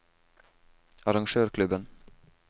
arrangørklubben